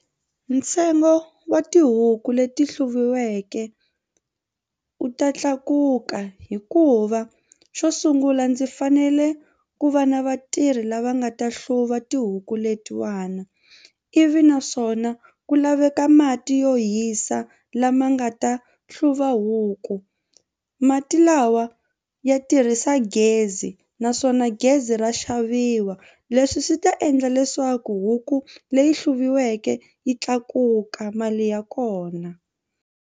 Ntsengo wa tihuku leti hluviweke u ta tlakuka hikuva xo sungula ndzi fanele ku va na vatirhi lava nga ta hluva tihuku letiwana ivi naswona ku laveka mati yo hisa lama nga ta hluva huku mati lawa ya tirhisa gezi naswona gezi ra xaviwa leswi swi ta endla leswaku huku leyi hluviweke yi tlakuka mali ya kona.